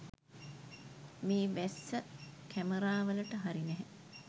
මේ වැස්ස කැමරාවලට හරි නැහැ.